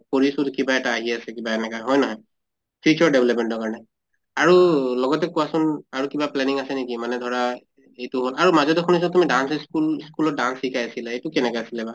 কৰিছো তো কিবা এটা আহি আছে কিবা এনেকা হয় নহয়? future development ৰ কাৰণে । আৰু লগতে কোৱাচোন আৰু কিবা planning আছে নেকি মানে ধৰা এইটো হʼল আৰু মাজতে শুনিছো তুমি dance school school ত তুমি dance শিকাই আছিলা এইটো কেনেকা আছিলে বা?